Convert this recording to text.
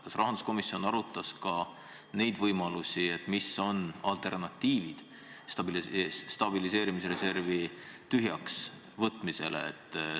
Kas rahanduskomisjon arutas ka võimalusi, mis oleksid alternatiiviks stabiliseerimisreservi tühjaks võtmisele?